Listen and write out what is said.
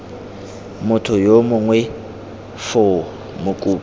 motho yo mongwe foo mokopi